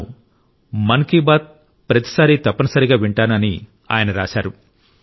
తాను మన్ కి బాత్ కార్యక్రమాన్ని రెగ్యులర్ శ్రోతను అని ఆయన రాశారు